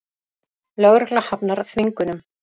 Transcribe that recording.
Lögregla hafnar þvingunum